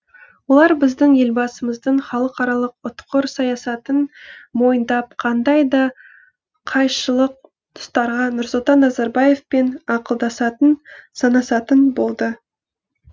олар біздің елбасымыздың халықаралық ұтқыр саясатын мойындап қандай да қайшылық тұстарға нұрсұлтан назарбаевпен ақылдасатын санасатын болды